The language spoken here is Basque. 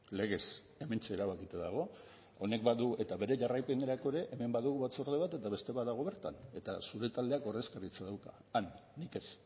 legez hementxe erabakita dago honek badu eta bere jarraipenerako ere hemen badugu batzorde bat eta beste bat dago bertan eta zure taldeak ordezkaritza dauka han nik ez